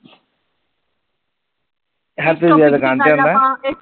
Happy ਵੀਰਾ ਦੁਕਾਨ ਤੇ ਆਂਦਾ?